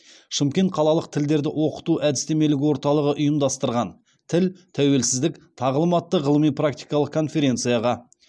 шымкент қалалық тілдерді оқыту әдістемелік орталығы ұйымдастырған тіл тәуелсіздік тағылым атты ғылыми практикалық конференцияға